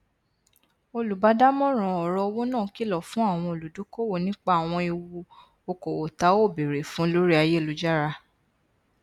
olùbádámọràn ọrọ owó náà kìlọ fún àwọn olùdókòwò nípa àwọn ewu okòwò ta ò bèèrè fún lórí ayélujára